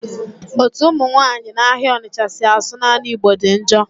Ọtu ụmụ nwanyị na-ahịa Ọnịtcha si asụ naanị igbo dị njọ.